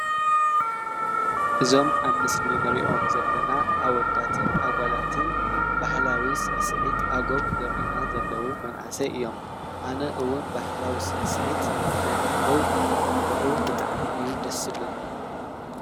እዞም ኣብ ምስሊ እንሪኦም ዘለና ኣወዳትን ኣጓላትን ባህላዊ ስዕስዒት ኣገው ዘርእዩና ዘለው መናእሰይ እዮም ፡፡ ኣነ እውን ባህላዊ ስዕስዒት ናይ ኣገው ክርኢ ከለኩ ብጣዕሚ እዩ ደስ ዝብለኒ፡፡